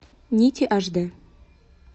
нити аш дэ